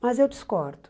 Mas eu discordo.